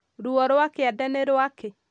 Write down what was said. Ruo rwa kĩande ni rwakĩ?